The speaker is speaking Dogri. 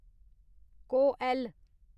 कोऐल्ल